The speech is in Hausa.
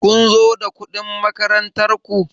Kun zo da kuɗin makarantar ku?